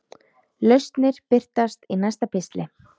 Lausnir birtast í næsta pistli.